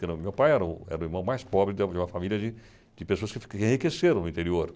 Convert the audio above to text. Entendeu? Meu pai era o era o irmão mais pobre de uma de uma família de de pessoas que ficam enriquecendo no interior.